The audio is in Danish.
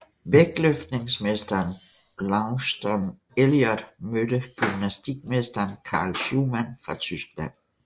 Vægtløftningsmesteren Launceston Elliot mødte gymnastikmesteren Carl Schuhmann fra Tyskland